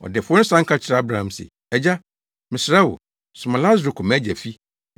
“Ɔdefo no san ka kyerɛɛ Abraham se, ‘Agya, mesrɛ wo, soma Lasaro kɔ mʼagya fi,